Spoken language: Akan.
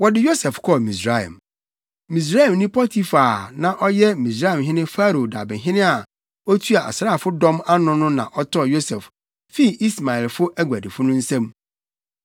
Wɔde Yosef kɔɔ Misraim. Misraimni Potifar a na ɔyɛ Misraimhene Farao dabehene a na otua asraafodɔm ano no na ɔtɔɔ Yosef fii Ismaelfo aguadifo no nsam.